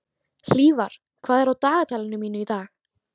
Hlífar, hvað er á dagatalinu mínu í dag?